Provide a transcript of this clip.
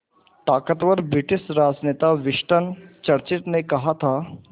ताक़तवर ब्रिटिश राजनेता Winston Churchill ने कहा था